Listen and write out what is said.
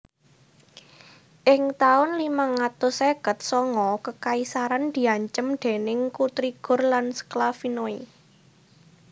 Ing taun limang atus seket sanga kekaisaran diancem déning Kutrigur lan Sklavinoi